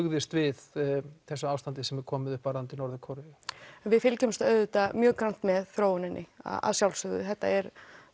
brugðist við þessu ástandi sem komið er upp varðandi Norður Kóreu við fylgjumst auðvitað mjög grannt með þróuninni að sjálfsögðu þetta er